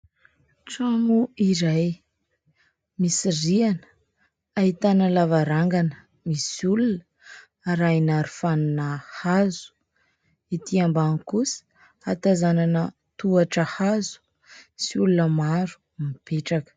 Trano iray misy rihana ahitana lavarangana misy olona, arahina arofanina hazo. Ety ambany kosa ahatazanana tohatra hazo sy olona maro mipetraka.